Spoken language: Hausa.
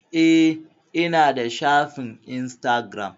Eh ina da shafin instagiram